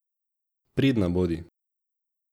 Pridna bodi.